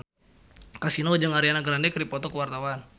Kasino jeung Ariana Grande keur dipoto ku wartawan